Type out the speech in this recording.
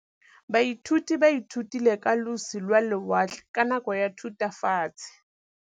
Baithuti ba ithutile ka losi lwa lewatle ka nako ya Thutafatshe.